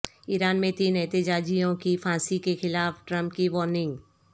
ایران میں تین احتجاجیوں کی پھانسی کیخلاف ٹرمپ کی وارننگ